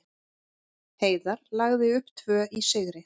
Heiðar lagði upp tvö í sigri